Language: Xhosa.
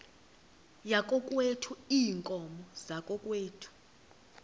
yakokwethu iinkomo zakokwethu